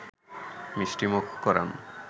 মিষ্টিমুখ করান